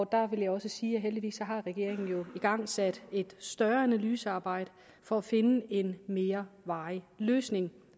der vil jeg også sige at heldigvis har regeringen jo igangsat et større analysearbejde for at finde en mere varig løsning